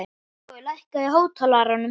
Hrói, lækkaðu í hátalaranum.